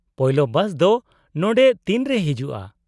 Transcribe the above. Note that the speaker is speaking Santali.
-ᱯᱳᱭᱞᱳ ᱵᱟᱥ ᱫᱚ ᱱᱚᱸᱰᱮ ᱛᱤᱱᱨᱮ ᱦᱤᱡᱩᱜᱼᱟ ?